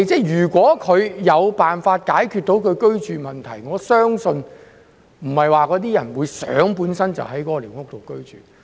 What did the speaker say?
"如果那些居民有辦法解決居住問題，我相信他們不會想居於寮屋。